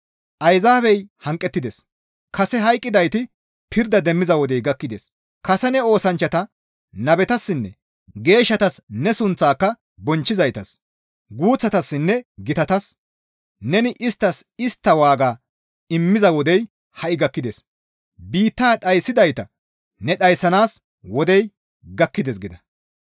Ayzaabey hanqettides; kase hayqqidayti pirda demmiza wodey gakkides; kase ne oosanchchata nabetassinne geeshshatas ne sunththaaka bonchchizaytas, guuththatassinne gitatas, neni isttas istta waaga immiza wodey ha7i gakkides. Biittaa dhayssidayta ne dhayssanaas wodey gakkides» gida.